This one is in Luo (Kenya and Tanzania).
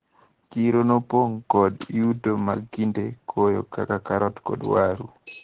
Chiro nopong` kod yuto mag kinde koyo kaka karot kod waru.